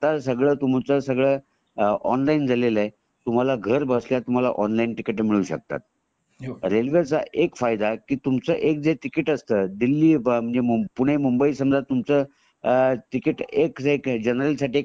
तुमचं सगळं ऑनलाइन झालेला आहे तुम्हाला घर बसल्या तुम्हाला ऑनलाइन टिकिट मिळू शकतात रेल्वे च एक फायदा की तुमच टिकिट असतं दिल्ली , पुणे, मुंबई , समजा तुमच टिकिट एक जनरल साठी